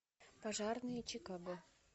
пожарные чикаго